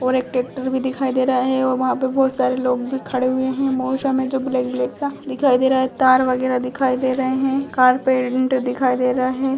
और एक टेक्टर भी दिखाई दे रहा है औ वहाँ पे बोहोत सारे लोग भी खड़े हुए हैं। मौसम है जो ब्लैक ब्लैक सा दिखाई दे रहा है। तार वगैरा दिखाई दे रहे हैं। कारपेंट दिखाई दे रहा है।